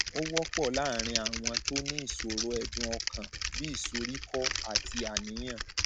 ó wọpọ láàárín àwọn tó ní ìṣòro ẹdùn ọkàn bí ìsoríkọ àti àníyàn